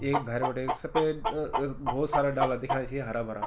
ऐक भैर बिटै सफेद अ अ भौत सारा डाला दिखेंणा छिन हरा भरा ।